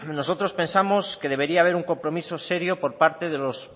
nosotros pensamos que debería haber un compromiso serio por parte de los